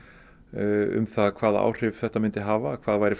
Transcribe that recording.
um það hvaða áhrif þetta myndi hafa hvað væri